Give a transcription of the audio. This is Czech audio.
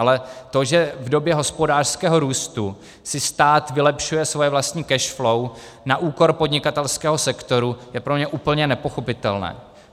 Ale to, že v době hospodářského růstu si stát vylepšuje svoje vlastní cash flow na úkor podnikatelského sektoru, je pro mě úplně nepochopitelné.